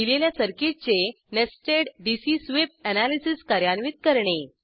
दिलेल्या सर्किटचे nested DC sweep analysis कार्यान्वित करणे